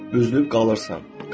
üzülüb qalırsan.